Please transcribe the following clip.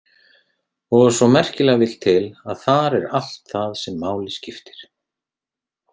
Og svo merkilega vill til, að þar er allt það sem máli skiptir.